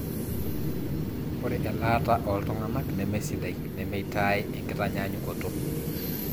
ore elaata ooltung'anak nemesidai nemeitaai enkitanyanyukoto